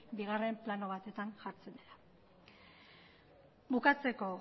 bigarren plano batetan jartzen dela bukatzeko